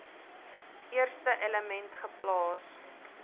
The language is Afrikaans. eerste element geplaas